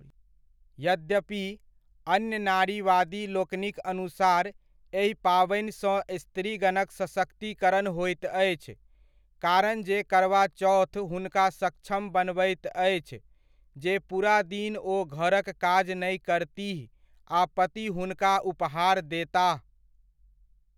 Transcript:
यद्यपि, अन्य नारीवादी लोकनिक अनुसार एहि पाबनिसँ स्त्रीगणक सशक्तिकरण होइत अछि, कारण जे करवा चौथ हुनका सक्षम बनबैत अछि जे पूरा दिन ओ घरक काज नहि करतीह आ पति हुनका उपहार देताह।